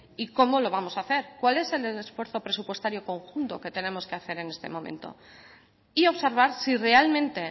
y cómo lo vamos a hacer cuál es el esfuerzo presupuestario conjunto que tenemos que hacer en este momento y observar si realmente